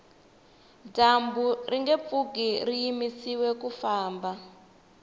dyambu ringe pfuki ri yimisiwe ku famba